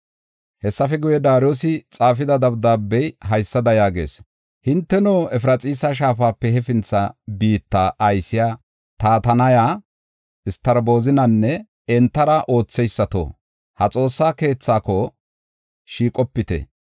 Hessafe guye, Daariyosi xaafida dabdaabey haysada yaagees. “Hinteno Efraxiisa Shaafape hefintha biitta aysiya Tatanaya, Satarbozinyanne entara ootheysato, ha Xoossa keethako shiiqopite.